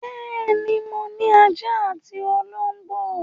Bẹ́ẹ̀ ni, mo ní ajá àti olóńgbò.